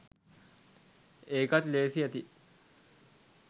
එකත් ලේසි ඇති